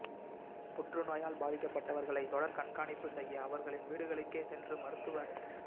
புற்றுநோயால் பாதிக்கப்பட்டவர்ளை தொடர் கண்காணிப்பு செய்ய அவர்களின் வீடுகளுக்கே சென்று மருத்துவப் ப